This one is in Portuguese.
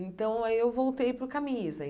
Então, aí eu voltei para o camisa.